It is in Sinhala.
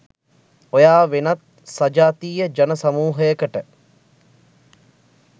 ඔයා වෙනත් සජාතීය ජන සමූහයකට